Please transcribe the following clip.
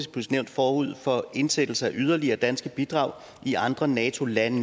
nævn forud for indsættelse af yderligere danske bidrag i andre nato land